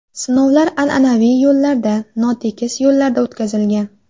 Sinovlar an’anaviy yo‘llarda, notekis yo‘llarda o‘tkazilgan.